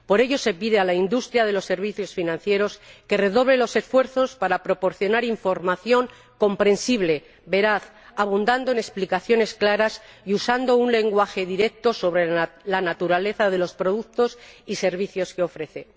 Por ello se pide a la industria de los servicios financieros que redoble los esfuerzos para proporcionar información comprensible, veraz, abundando en explicaciones claras y usando un lenguaje directo sobre la naturaleza de los productos y servicios que ofrece